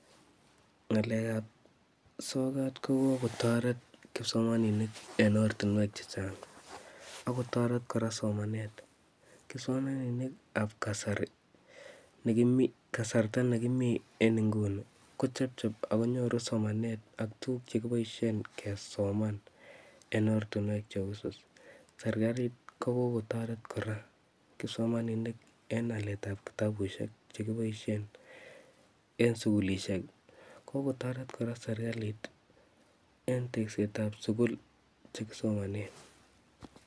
Ngalekab sokat ko kokotoret kipsomaninik en oratinwek chechang ak kotoret kora somanet, kipsomaninikab kasarta nekimii en inguni kochebcheb ak konyoru somanet ak tukuk chekiboshen kesoman en ortinwek cheusus, serikalit ko kokotoret kora kipsomaninik en aleetab kitabushek chekiboishen en sukulishek, kokotoret kora serikalit en teksetab sukul chekisomonen.